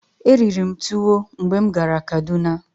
Eriri m tuwo mgbe m gara Kaduna.